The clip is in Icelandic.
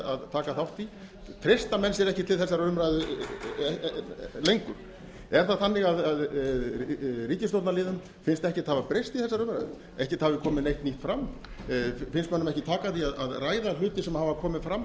að taka þátt í treysta menn sér ekki til þessarar umræðu lengur er það þannig að ríkisstjórnarliðum finnst ekkert hafa breyst í þessari umræðu ekkert hafi koma neitt nýtt fram finnst mönnum ekki taka því að ræða hluti sem hafa komið fram